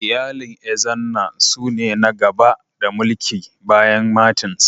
Iyalin Ezenna su ne na gaba da mulki bayan Martins.